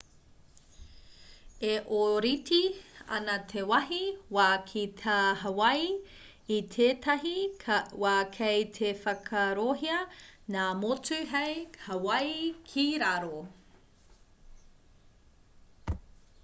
e ōrite ana te wāhi wā ki tā hawaii i tētahi wā kei te whakaarohia ngā motu hei hawaii ki raro